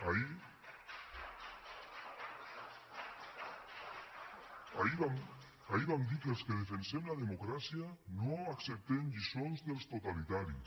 ahir vam dir que els que defensem la democràcia no acceptem lliçons dels totalitaris